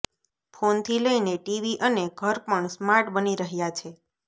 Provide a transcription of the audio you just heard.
ફોનથી લઈને ટીવી અને ઘર પણ સ્માર્ટ બની રહ્યા છે